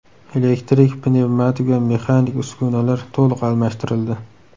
Elektrik, pnevmatik va mexanik uskunalar to‘liq almashtirildi.